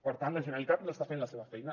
per tant la generalitat no està fent la seva feina